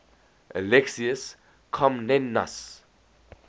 alexius comnenus